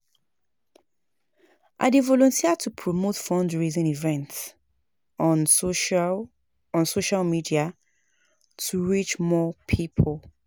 I dey volunteer to promote fundraising events on social on social media to reach more people.